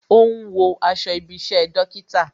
Ó ń wo aṣọ ibi isẹ dókítà